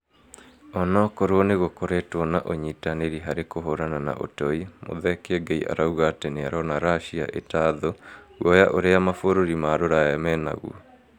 Onokorwo nĩgũkoretwo na ũnyitanĩri harĩ kũhũrana na ũtoi, Muthee Kiengei arauga atĩ nĩarona Russia ĩta thũ, guoya ũrĩa mabũrũri ma rũraya menaguo